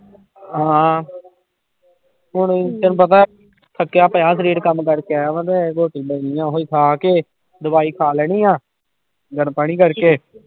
ਹਾਂ ਹੁਣੇ ਹੀ ਤੈਨੂੰ ਪਤਾ ਥੱਕਿਆ ਪਿਆ ਸਰੀਰ ਕੰਮ ਕਰਕੇ ਆਇਆ ਵਾਂ ਤੇ ਰੋਟੀ ਪਈ ਆ ਉਹੀ ਖਾ ਕੇ ਦਵਾਈ ਖਾ ਲੈਣੀ ਆਂ ਗਰਮ ਪਾਣੀ ਕਰਕੇ